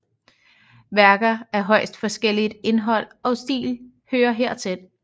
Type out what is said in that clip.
Værker af højst forskelligt indhold og stil hører herhen